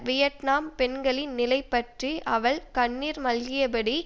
Vietnam பெண்களின் நிலைப்பற்றி அவள் கண்ணீர் மல்கியபடி